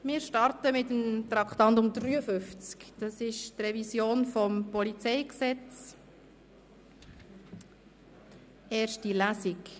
Wir starten mit der Revision des Polizeigesetzes (PolG), erste Lesung.